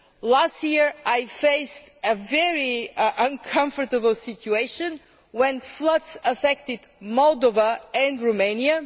Last year I faced a very uncomfortable situation when floods affected Moldova and Romania.